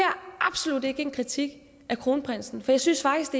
absolut ikke en kritik af kronprinsen for jeg synes faktisk